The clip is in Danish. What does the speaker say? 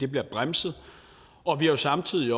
bliver bremset vi har samtidig